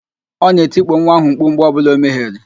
Ọ na-etikpo nwa ahụ mkpu mgbe ọbụla o mehiere